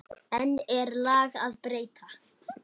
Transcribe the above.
Enn er lag að breyta.